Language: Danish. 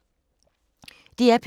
DR P2